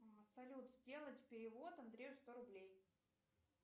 салют сделать перевод андрею сто рублей